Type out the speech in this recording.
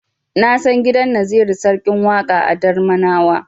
Na san gidan Naziru Sarkin Waƙa a Darmanawa.